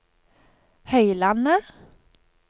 Høylandet